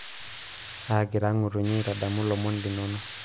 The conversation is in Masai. agira ngutunyi aitadamu lomon linonok